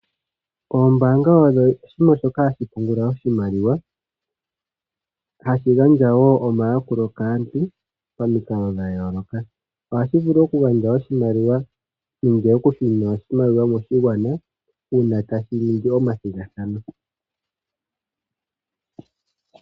Oombaanga odho oshiima shoka hashi pungula oshimaliwa, hashi gandja woo omayakulo kaantu pamikalo dhayooloka. Ohashi vulu oku gandja oshimaliwa nenge oku shunina oshimaliwa moshigwana, ngele tashi ningi omathigathano.